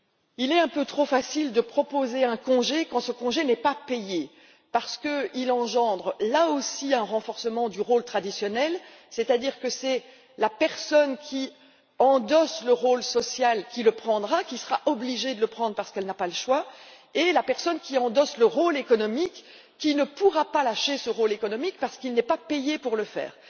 Il est un peu trop facile de proposer un congé quand ce dernier n'est pas payé, parce qu'il engendre là aussi un renforcement du rôle traditionnel, c'est à dire que la personne qui endosse le rôle social, le prendra elle sera obligée de le prendre parce qu'elle n'a pas le choix et la personne qui endosse le rôle économique ne pourra pas se défaire de ce rôle économique parce qu'elle n'est pas payée pour le faire.